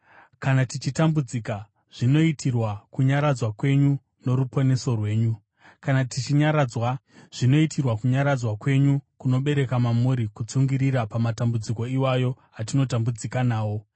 Kana tichitambudzika, zvinoitirwa kunyaradzwa kwenyu noruponeso rwenyu, kana tichinyaradzwa, zvinoitirwa kunyaradzwa kwenyu, kunobereka mamuri kutsungirira pamatambudziko iwayo atinotambudzika nawo.